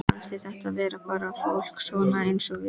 Fannst þér þetta vera bara fólk svona eins og við?